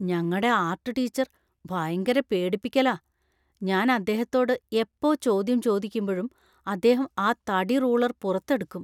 ഞങ്ങടെ art teacher ഭയങ്കര പേടിപ്പിക്കലാ. ഞാൻ അദ്ദേഹത്തോട് എപ്പോ ചോദ്യം ചോദിക്കുമ്പഴും അദ്ദേഹം ആ തടിറൂളര്‍ പുറത്തെടുക്കും.